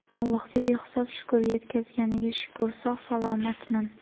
Allohga behisob shukr, yetkazganiga shukr, sog‘-salomatman.